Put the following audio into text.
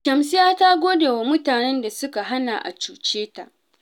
Shamsiyya ta gode wa mutanen da suka hana a cuce ta